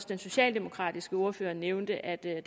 den socialdemokratiske ordfører nævnte at det